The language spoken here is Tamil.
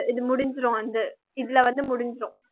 இது முடிஞ்சிடும் வந்து இதுல வந்து முடிஞ்சிடும்